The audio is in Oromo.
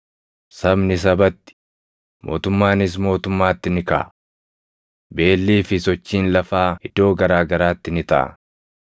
Sabni sabatti, mootummaanis mootummaatti ni kaʼa. Beellii fi sochiin lafaa iddoo garaa garaatti ni taʼa.